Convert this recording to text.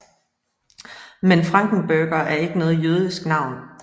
Men Frankenberger er ikke noget jødisk navn